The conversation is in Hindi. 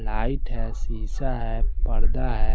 लाइट हैं शीशा हैं पर्दा हैं।